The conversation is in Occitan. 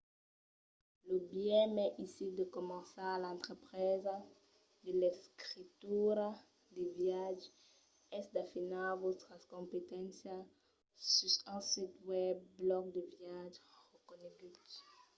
lo biais mai aisit de començar l'entrepresa de l'escritura de viatges es d'afinar vòstras competéncias sus un sit web blòg de viatge reconegut